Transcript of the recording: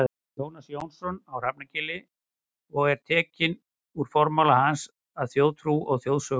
Jónas Jónasson á Hrafnagili og er tekinn úr formála hans að Þjóðtrú og þjóðsögnum.